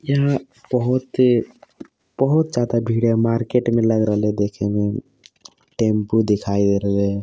यहा बहुत ही बहुत ज्यादा भीड़ है मार्केट मे टेम्पो दिखाई दे रहे है।